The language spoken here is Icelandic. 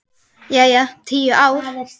Jæja, tíu ár.